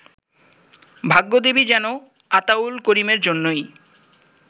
ভাগ্যদেবী যেন আতাউল করিমের জন্যই